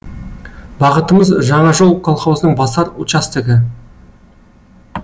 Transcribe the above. бағытымыз жаңа жол колхозының басар участогы